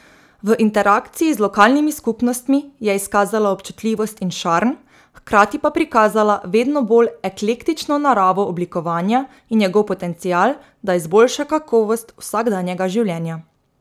V interakciji z lokalnimi skupnostmi je izkazala občutljivost in šarm, hkrati pa prikazala vedno bolj eklektično naravo oblikovanja in njegov potencial, da izboljša kakovost vsakdanjega življenja.